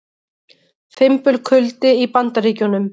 Fimbulkuldi í Bandaríkjunum